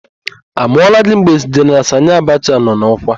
A mụọla gị mgbe Jeneral Sanị Abacha nọ n'ọkwa?